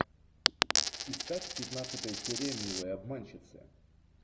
искать пятнадцатая серия милая обманщица